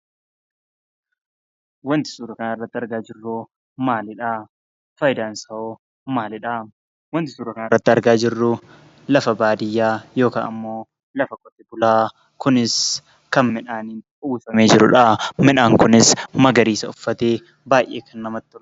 Wanti suura kan irratti argaa jirru maaliidhaa? Faayidaan isaa hoo maalidhaa? Wanti suura kana irratti argaa jirru lafa baadiyyaa yookaan ammo lafa qotee bulaa kunis kan midhaaniin uwwifamee jirudhaa. Midhaan kunis magariisa uffate baay'ee kan namatti toludha.